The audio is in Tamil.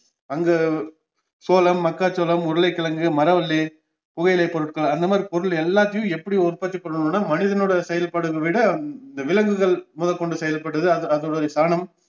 அங்க சோளம், மக்காச்சோளம், உருளைக்கிழங்கு, மரவல்லி, புகை இலை பொருட்கள் அந்தமாத்ரி பொருள் எல்லாத்தையும் எப்படி உற்பத்தி பண்ணனும்னா மனிதனோட செயல்பாடுகள் விட விலங்குகள் முதற்கொண்டு செயல்படுவது அது அதோடைய சாணம்